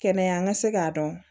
Kɛnɛya ka se k'a dɔn